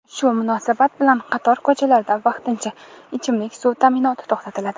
Shu munosabat bilan qator ko‘chalarda vaqtincha ichimlik suvi ta’minoti to‘xtatiladi.